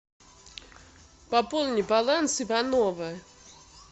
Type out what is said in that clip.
пополни баланс ивановы